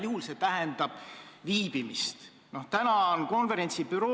Sellesse töörühma olid kaasatud erinevad aineühendused, Tallinna ja Tartu Ülikooli teadlased, eksperdid, praktikud.